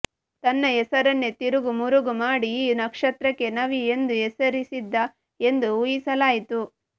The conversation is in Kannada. ತನ್ನ ಹೆಸರನ್ನೇ ತಿರುಗು ಮುರುಗು ಮಾಡಿ ಈ ನಕ್ಷತ್ರಕ್ಕೆ ನವಿ ಎಂದು ಹೆಸರಿಸಿದ್ದ ಎಂದು ಊಹಿಸಲಾಯಿತು